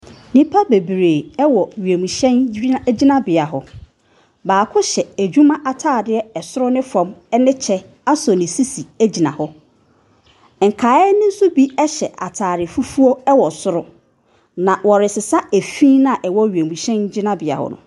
Nnipa bebree wɔ wiemhyɛn gyin gyinabea hɔ. Baako hyɛ adwuma ataadeɛ soro ne fam ne kyɛ asɔ ne sisi gyina hɔ. Nkaeɛ ne nso bi hyɛ ntaare fufuo wɔ soro, na wɔresesa fi no a ɛwɔ wiemhyɛn gyinabea hɔ no.